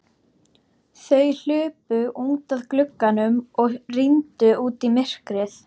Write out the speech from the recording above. Þau hlupu út að glugganum og rýndu út í myrkrið.